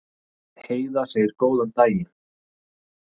Heiða segir góðan daginn!